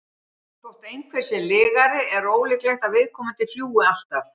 þótt einhver sé lygari er ólíklegt að viðkomandi ljúgi alltaf